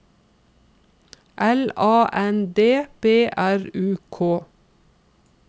L A N D B R U K